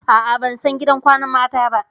A'a, ban san gidan kwanan mata ba.